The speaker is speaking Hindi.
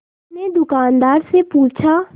उसने दुकानदार से पूछा